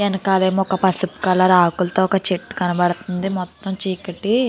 ఎనకాలేమో ఒక పసుపు కలర్ ఆకులతో ఒక చెట్టు కనబడుతుంది మొత్తం చీకటి --